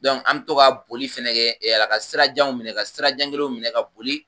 an bɛ to ka boli fɛnɛ kɛ Ala ka sirajanw minɛ, ka sirajan kelenw minɛ, ka boli